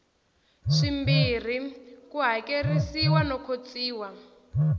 swimbirhi ku hakerisiwa no khotsiwa